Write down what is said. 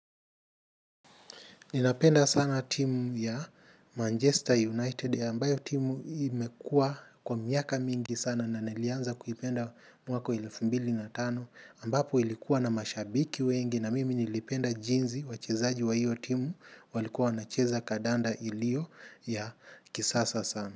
Ninapenda sana timu ya Manchester United, ambayo timu imekuwa kwa miaka mingi sana na nilianza kuipenda mwaka wa elfu mbili na tano, ambapo ilikuwa na mashabiki wengi na mimi nilipenda jinsi wachezaji wa hiyo timu walikuwa wanacheza kadanda iliyo ya kisasa sana.